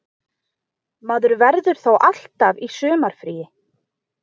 Maður verður þá alltaf í sumarfríi